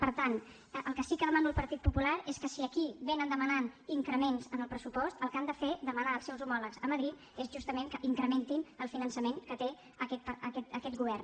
per tant el que sí que demano al partit popular és que si aquí vénen demanant increments en el pressupost el que han de fer demanar als seus homòlegs a madrid és justament que incrementin el finançament que té aquest govern